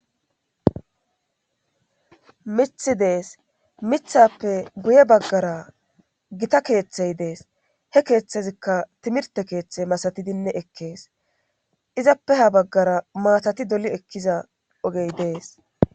mithi dees mithappe guye baggara gita keeththey dees he keeththezikka timirte keeththe masatidinne ekkees izappe ha baggara maatati doli ekkiza ogey dees